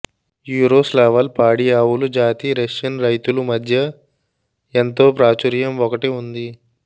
Yaroslavl పాడి ఆవులు జాతి రష్యన్ రైతులు మధ్య ఎంతో ప్రాచుర్యం ఒకటి ఉంది